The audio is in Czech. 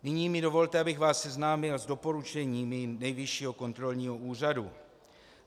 Nyní mi dovolte, abych vás seznámil s doporučeními Nejvyššího kontrolního úřadu.